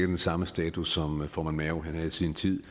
den samme status som formand mao havde i sin tid